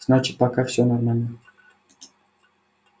значит пока всё нормально